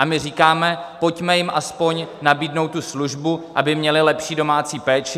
A my říkáme, pojďme jim aspoň nabídnout tu službu, aby měly lepší domácí péči.